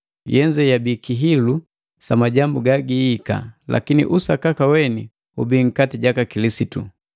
Yenze yabii kihilu sa majambu gagiihika, lakini usakaka weni ubii nkati jaka Kilisitu.